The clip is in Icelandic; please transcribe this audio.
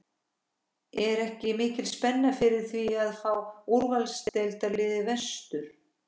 Er ekki mikil spenna fyrir því að fá úrvalsdeildarlið vestur?